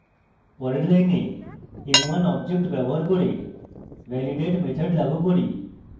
পরের line m1 object ব্যবহার করে validate method লাগু করি